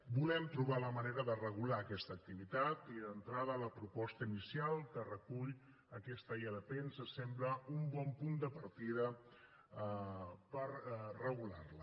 volem trobar la manera de regular aquesta activitat i d’entrada la proposta inicial que recull aquesta ilp ens sembla un bon punt de partida per regular la